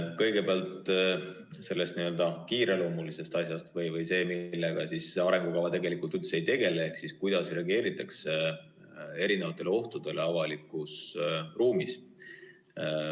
Kõigepealt sellest n‑ö kiireloomulisest asjast või sellest, millega siis arengukava tegelikult üldse ei tegele, et kuidas reageeritakse ohtudele avalikus ruumis.